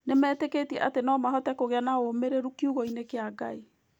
Nĩmetĩkĩtie atĩ no mahote kũgĩa ũũmĩrĩru kiugo-inĩ kĩa Ngai.